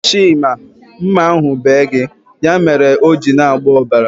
Chima, mma ahu bee gị. Ya mere o ji na-agba ọbara